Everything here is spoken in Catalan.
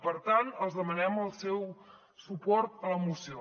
per tant els demanem el seu suport a la moció